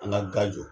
An ka ga jɔ